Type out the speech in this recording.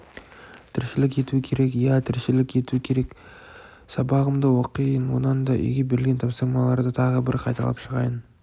тіршілік ету керек иә тіршілік ету керек сабағымды оқиын онан да үйге берілген тапсырмаларды тағы бір қайталап шығайын